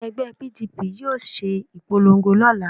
Àwọn ẹgbẹ́ PDP yóò ṣe ìpolongo lọ́la